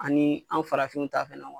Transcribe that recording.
Ani anw farafinw ta